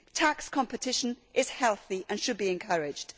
Tax competition is healthy and should be encouraged.